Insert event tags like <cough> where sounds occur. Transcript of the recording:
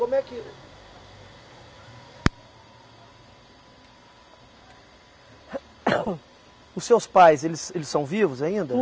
Como é que <coughs> Os seus pais, eles eles são vivos ainda?